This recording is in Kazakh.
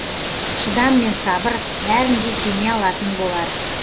шыдам мен сабыр бәрін де жеңе алатын болар